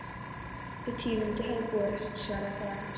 Þau tíðindi höfðu borist, svaraði faðir hans.